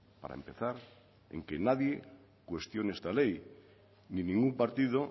para empezar en que nadie cuestione esta ley ni ningún partido